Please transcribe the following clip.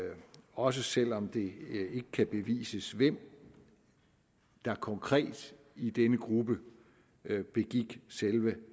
også selv om det ikke kan bevises hvem der konkret i denne gruppe begik selve